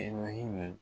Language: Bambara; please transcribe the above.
E maha